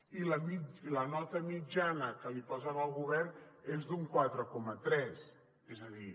i la nota mitjana que posen al govern és d’un quatre coma tres és a dir